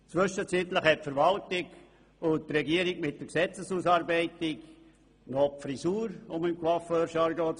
Zwischenzeitlich haben Verwaltung und Regierung mit der Gesetzesausarbeitung noch die «Frisur» erstellt.